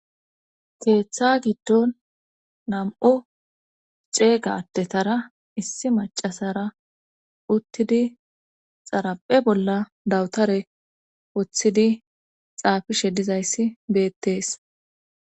keeththa giddon nam7u xeeygadetara issi macasara uttidi xaraphe bolla dawutare woththidi xaafishe dizayssi beettees